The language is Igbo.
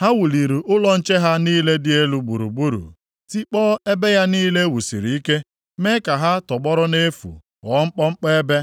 Ha wuliri ụlọ nche ha niile dị elu gburugburu tikpọọ ebe ya niile e wusiri ike, mee ha ka ha tọgbọrọ nʼefu ghọọ mkpọmkpọ ebe.